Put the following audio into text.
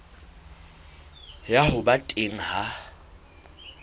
ya ho ba teng ha